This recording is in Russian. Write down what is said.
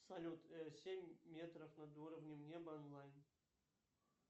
салют семь метров над уровнем неба онлайн